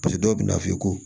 dɔw bɛ na f'i ye ko